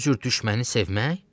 Bu cür düşməni sevmək?